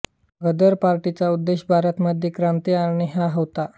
गदर पार्टीचा उद्देश भारत मध्ये क्रांती आणणे हा होता